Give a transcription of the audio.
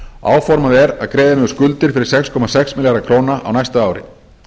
áformað er að greiða niður skuldir fyrir sex komma sex milljarða króna á næsta ári